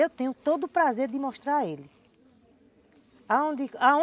Eu tenho todo o prazer de mostrar a ele.